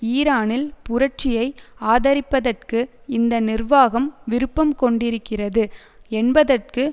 ஈரானில் புரட்சியை ஆதரிப்பதற்கு இந்த நிர்வாகம் விருப்பம் கொண்டிருக்கிறது என்பதற்கு